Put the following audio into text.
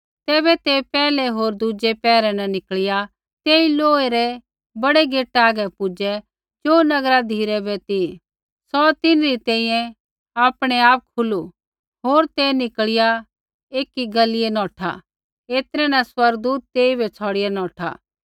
तैबै ते पैहलै होर दुज़ै पैहरै न निकल़िया तेई लोहै रै बड़ै गेटा आगै पुजै ज़ो नगरा धिराबै ती सौ तिन्हरी तैंईंयैं आपणैआप खुलू होर ते निकल़िया एकी गलिऐ नौठै ऐतरै न स्वर्गदूत तेइबै छ़ौड़िआ नौठा